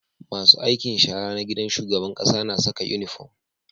Masu aikin shara na gidan shugaban ƙasa na Saka inufom